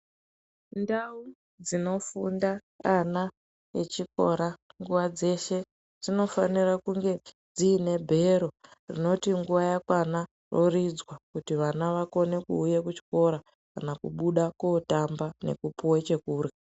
Ndau dzinofunda ana echikora nguwa dzeshe dzinofanira kunge dziine bhero rinoti nguwa yakwana roridzwa kuti vana vakone kuuya kuchikora kana kubuda kootamba nekupuwa chekurhya.